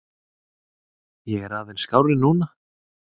Ég er aðeins skárri núna.